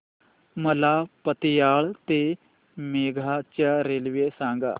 मला पतियाळा ते मोगा च्या रेल्वे सांगा